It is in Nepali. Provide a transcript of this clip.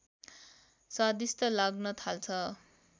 स्वादिष्ठ लाग्न थाल्छ